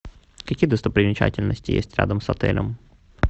какие достопримечательности есть рядом с отелем